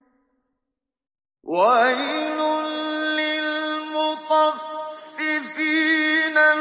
وَيْلٌ لِّلْمُطَفِّفِينَ